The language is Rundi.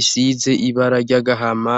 isize ibara ry'agahama.